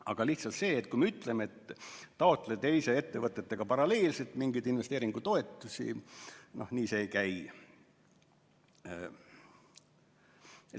Aga see, kui me lihtsalt ütleme, et taotle teiste ettevõttetega paralleelselt mingeid investeeringutoetusi – no nii see ei käi.